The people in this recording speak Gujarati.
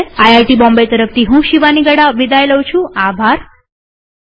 આઇઆઇટી બોમ્બે તરફથી હું શિવાની ગડા વિદાય લઉં છુંટ્યુ્ટોરીઅલમાં ભાગ લેવા આભાર